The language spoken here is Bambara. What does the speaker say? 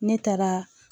Ne taara